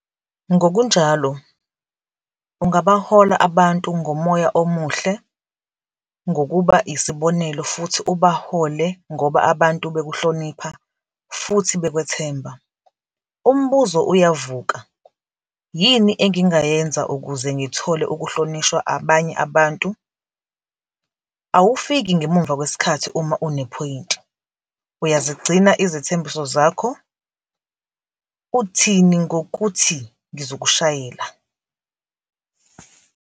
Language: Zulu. Ngokunjalo, ungabahola abantu ngomoya omuhle ngokuba yisibonelo futhi ubahole ngoba abantu bekuhlonipha futhi bekwethemba. Umbuzo uyavuka, 'Yini engingayenza ukuze ngithole ukuhlonishwa abanye abantu?' Awufiki ngemuva kwesikhathi uma unephoyinti, uyazigcina izethembiso zakho, uthini ngokuthi ngizokushayela?